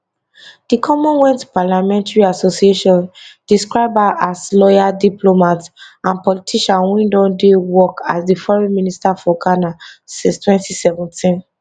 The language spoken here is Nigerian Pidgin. di commonwealth parliamentary association describe her as lawyer diplomat and politician wey don dey work as di foreign minister for ghana since 2017